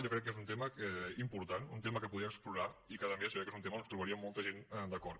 jo crec que és un tema important un tema que podria explorar i que a més és un tema on ens trobaríem molta gent d’acord